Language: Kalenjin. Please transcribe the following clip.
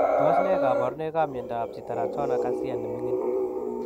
Tos ne kabarunoik ak miondoop Sitiratona kasia nemining?